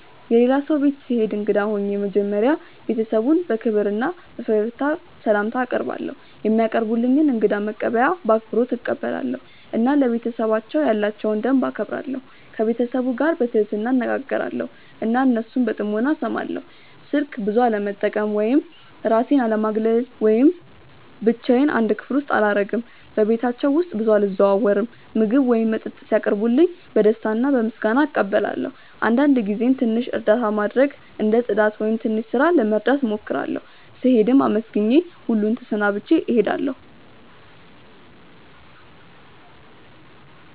የሌላ ሰው ቤት ስሄድ እንግዳ ሆኜ መጀመሪያ ቤተሰቡን በክብር እና በፈገግታ ስላምታ አቀርባለው፧ የሚያቀርቡልኝን እንግዳ መቀበያ በአክብሮት እቀበላለሁ እና ለቤተሰባቸው ያላቸውን ደንብ እከብራለሁ። ከቤተሰቡ ጋር በትህትና እነጋገራለው እና እነሱን በጥሞና እስማለው። ስልክ ብዙ አለመጠቀም ወይም እራሴን አለማግለል ወይም ብቻዮን አንድ ክፍል አላረግም በቤታቸው ውስጥ ብዙ አልዘዋወርም። ምግብ ወይም መጠጥ ሲያቀርቡልኝ በደስታ እና በምስጋና እቀበላለው አንዳንድ ጊዜም ትንሽ እርዳታ ማድረግ እንደ ጽዳት ወይም ትንሽ ስራ መርዳት እሞክራለሁ። ስሄድም አመስግኜ ሁሉን ተሰናብቼ እሄዳለሁ።